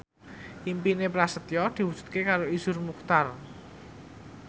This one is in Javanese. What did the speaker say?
impine Prasetyo diwujudke karo Iszur Muchtar